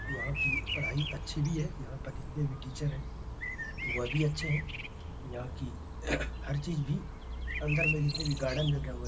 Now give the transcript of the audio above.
वहॉँ की पढ़ाई अच्छी भी है। यहाँ पर जितने भी टीचर हैं वह भी अच्छे हैं। यहाँ की हर चीज भी अंदर में जितने भी गार्डन लगे हुए --